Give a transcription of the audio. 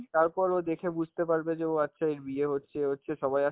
তারপর ও দেখে বুঝতে পারবে যে ও আচ্ছা এর বিয়ে হচ্ছে, এই হচ্ছে সবাই